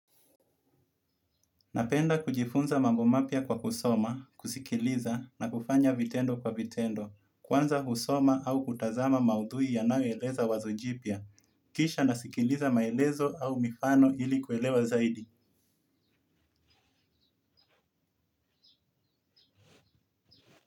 Napenda kujifunza mambo mapya kwa kusoma, kusikiliza na kufanya vitendo kwa vitendo, kwanza husoma au kutazama maudhui ya naueleza wazojipia, kisha nasikiliza maelezo au mifano ili kuelewa zaidi.